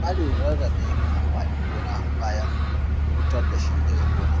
Tsarin rarrabe amfanin gona bayan fitar da shi daga gonan.